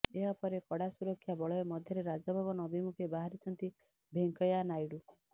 ଏହାପରେ କଡା ସୁରକ୍ଷାବଳୟ ମଧ୍ୟରେ ରାଜଭବନ ଅଭିମୁଖେ ବାହାରିଛନ୍ତି ଭେଙ୍କେୟା ନାଇଡୁ